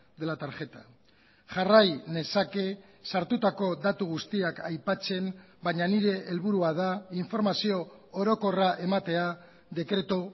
de la tarjeta jarrai nezake sartutako datu guztiak aipatzen baina nire helburua da informazio orokorra ematea dekretu